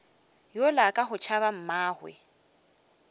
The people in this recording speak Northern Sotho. yola ka go tšhaba mmagwe